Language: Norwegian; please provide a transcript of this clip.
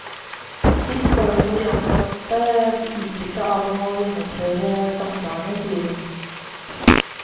Slik får også de ansatte utbytte av å gjennomføre samtalene, sier hun.